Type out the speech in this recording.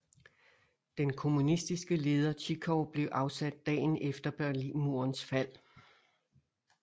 Den kommunistiske leder Zhivkov blev afsat dagen efter Berlinmurens fald